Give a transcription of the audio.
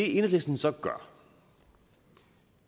enhedslisten så gør